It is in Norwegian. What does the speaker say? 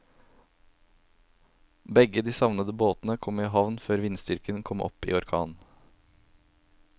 Begge de savnede båtene kom i havn før vindstyrken kom opp i orkan.